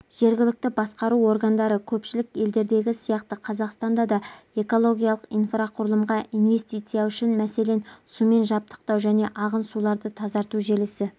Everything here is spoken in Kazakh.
жергілікті басқару органдары көпшілік елдердегі сияқты қазақстанда да экологиялық инфрақұрылымға инвестиция үшін мәселен сумен жабдықтау және ағын суларды тазарту желісі